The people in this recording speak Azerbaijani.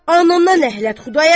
Anana ləhnət, Xudayar!